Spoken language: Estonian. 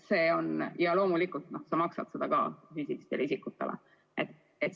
Loomulikult makstakse seda füüsilistele isikutele.